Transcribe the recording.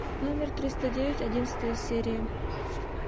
номер триста девять одиннадцатая серия